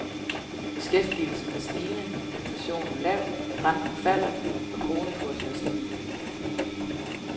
Beskæftigelsen er stigende, inflationen lav, renten falder, og kronekursen er stabil.